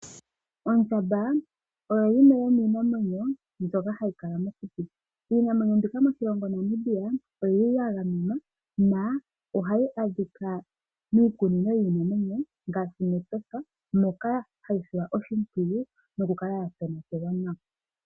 Ondjamba oyo yimwe yomiinamwenyo mbyoka hayi kala mokuti. Iinamwenyo mbika moshilongo Namibia oya gamenwa nohayi adhika miikunino yiinamwenyo ngaashi mEtosha moka hayi silwa oshipwiyu noku kala yatonatelwa nawa.